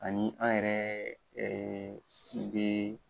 Ani an yɛrɛ bɛ